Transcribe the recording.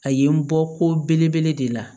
A ye n bɔ ko belebele de la